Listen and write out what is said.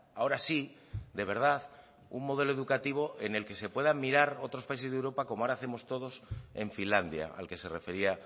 ahora sí de verdad un modelo educativo en el que se puedan mirar otros países de europa como ahora hacemos todos en finlandia al que se refería